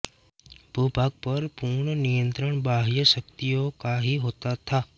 भूभाग पर भी पूर्ण नियंत्रण बाह्य शक्तियों का ही होता था